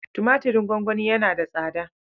Tumatirin gongoni yana da tsada